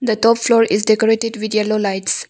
The top floor is decorated with yellow lights.